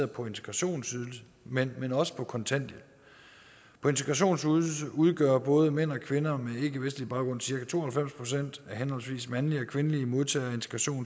på integrationsydelsen men men også på kontanthjælp på integrationsydelse udgør både mænd og kvinder med ikkevestlig baggrund cirka to og halvfems procent af henholdsvis mandlige og kvindelige modtagere af